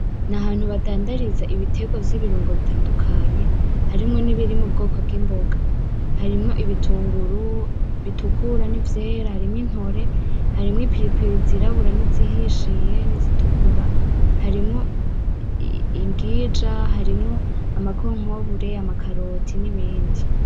N'ahantu badandariza ibiterwa vy'ibirungo bitandukanye harimwo n'ibirimwo ubwoko bw'imboga. Harimwo ibitunguru, bitukura n'ivyera, harimwo intore, harimwo ipilipili zirabura n'izihishiyen izitukura, harimwo imbwija harimwo ama konkombre ama Karoti n'ibindi.